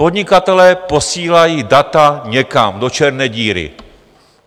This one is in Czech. Podnikatelé posílají data někam do černé díry.